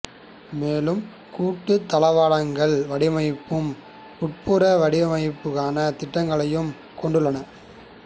மேலும் கூட்டு தளவாடங்கள் வடிவமைப்பும் உட்புற வடிவமைப்புக்கான திட்டங்களையும் கொண்டுள்ளனர்